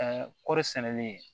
Ɛɛ kɔɔri sɛnɛli